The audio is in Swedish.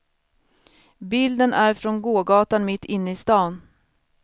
Bilden är från gågatan mitt inne i stan.